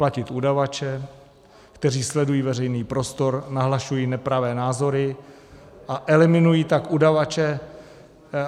Platit udavače, kteří sledují veřejný prostor, nahlašují nepravé názory a eliminují tak udavače.